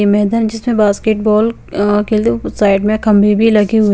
ये यह मैदान जिसमे बास्केट बॉल अ खेलु साइड में खम्बे भी लगे हुए --